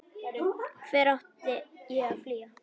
Hvert á ég að flýja?